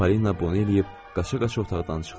Polina bunu eləyib qaça-qaça otaqdan çıxdı.